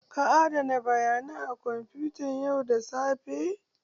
Ka adana bayanan a kwamfutan yau da safe?